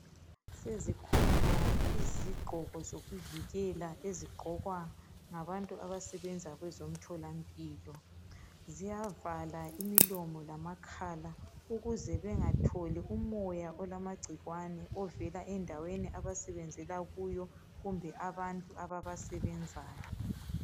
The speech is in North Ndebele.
sezikhona izigqoko zokuvikelowa ezigqoka ngabantu abasebenza kwezomtholampilo ziyavala imilomo lamakhala ukuze bengatholi umoya olamacikwane ovela endaweni abasebenzela kiyo kumbe abantu ababasebenzayo